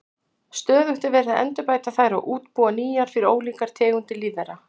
Stöðugt er verið að endurbæta þær og útbúa nýjar fyrir ólíkar tegundir lífvera.